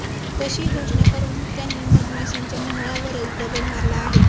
तशी घोषणा करून त्यांनी मधमाश्यांच्या मोहळावरच दगड मारला आहे